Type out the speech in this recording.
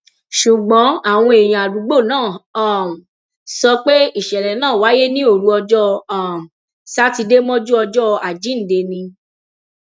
ṣùgbọn àwọn èèyàn àdúgbò náà um sọ pé ìṣẹlẹ náà wáyé ní òru ọjọ um sátidé mọjú ọjọ àjíǹde ni